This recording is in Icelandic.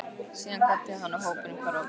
Síðan kvaddi hann og hópurinn hvarf á braut.